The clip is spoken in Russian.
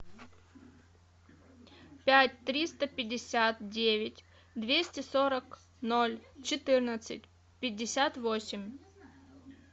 пять триста пятьдесят девять двести сорок ноль четырнадцать пятьдесят восемь